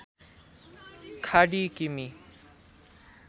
खाडी किमि